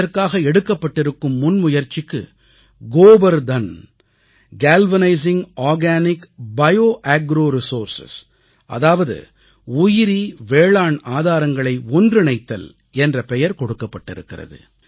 இதற்காக எடுக்கப்பட்டிருக்கும் முன்முயற்சிக்கு Gobardhan galvanising organic bio agro resource அதாவது உயிரி வேளாண் ஆதாரங்களை ஒன்றிணைத்தல் என்ற பெயர் கொடுக்கப்பட்டிருக்கிறது